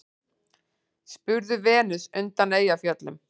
spurði Venus undan Eyjafjöllum.